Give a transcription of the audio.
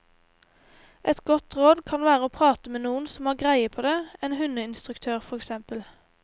Et godt råd kan være å prate med noen som har greie på det, en hundeinstruktør for eksempel.